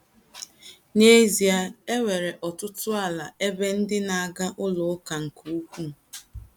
N’ezie,e nwere ọtụtụ ala ebe ndị na - aga ụlọ ụka ka ukwuu.